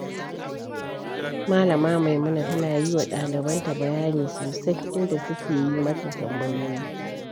Malama Maimuna tana yi wa ɗalibanta bayani sosai, inda suke yi mata tambayoyi.